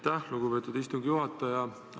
Aitäh, lugupeetud istungi juhataja!